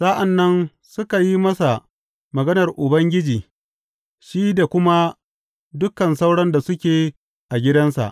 Sa’an nan suka yi masa maganar Ubangiji shi da kuma dukan sauran da suke a gidansa.